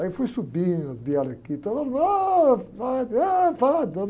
Aí eu fui subir, vieram aqui, todo mundo, ôh, ôh, padre.